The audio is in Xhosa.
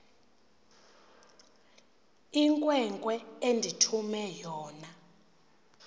inkwenkwe endithume yona